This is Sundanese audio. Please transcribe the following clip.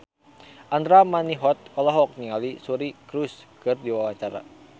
Andra Manihot olohok ningali Suri Cruise keur diwawancara